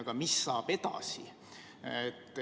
Aga mis saab edasi?